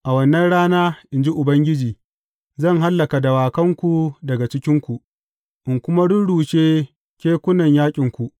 A wannan rana, in ji Ubangiji Zan hallaka dawakanku daga cikinku, in kuma rurrushe kekunan yaƙinku.